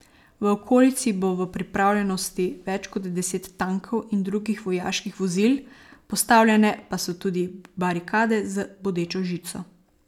V okolici bo v pripravljenosti več kot deset tankov in drugih vojaških vozil, postavljene pa so tudi barikade z bodečo žico.